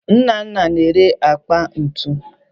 Nnanna na-ere akpa ntu